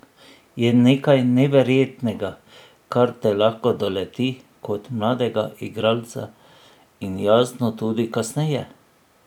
Je nekaj neverjetnega, kar te lahko doleti kot mladega igralca in jasno tudi kasneje.